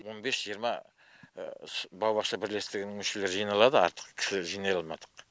он бес жиырма баубақша бірлестігінің мүшелері жиналады артық кісілер жинай алмадық